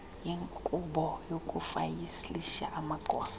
yenkqubo yokufayilisha amagosa